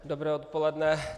Dobré odpoledne.